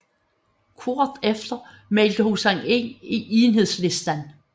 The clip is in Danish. Kort efter meldte hun sig ind i Enhedslisten